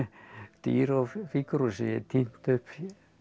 dýr og fígúrur sem ég hef tínt upp